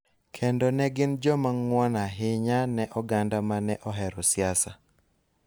kendo ne gin joma ng�won ahinya ne oganda ma ne ohero siasa